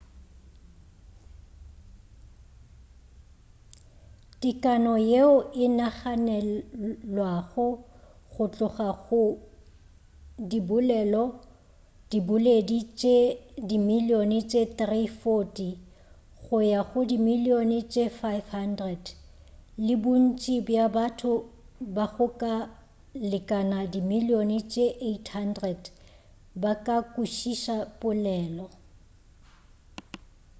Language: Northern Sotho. tekano yeo e naganelwago go tloga go diboledi tše dimilione tše 340 go ya go dimilione tše 500 le bontši bja batho ba go ka lekana dimilione tše 800 ba ka kwešiša polelo